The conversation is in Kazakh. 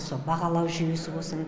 сол бағалау жүйесі болсын